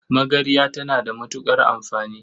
Magarya tana da matuƙar amfani.